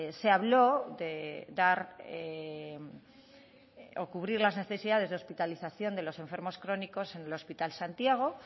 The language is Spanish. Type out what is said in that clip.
se habló de dar o cubrir las necesidades de hospitalización de los enfermos crónicos en el hospital santiago